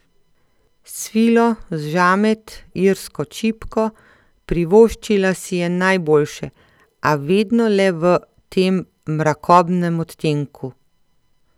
Svilo, žamet, irsko čipko, privoščila si je najboljše, a vedno le v tem mrakobnem odtenku.